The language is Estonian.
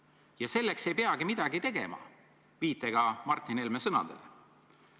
Ja selleks ei peagi midagi tegema, kui lähtuda Martin Helme sõnadest.